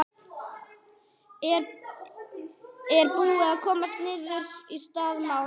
Er, er búið að komast niðurstaða í það mál?